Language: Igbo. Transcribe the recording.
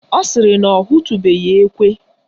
Ọ sịrị na ọ hụtubeghi ekwe